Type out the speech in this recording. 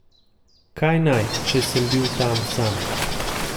Kaj naj, če sem bil tam sam ...